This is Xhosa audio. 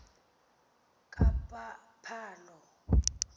kaphalo